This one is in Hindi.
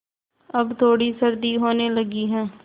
अब थोड़ी सर्दी होने लगी है